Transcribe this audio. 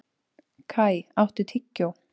Kai, áttu tyggjó?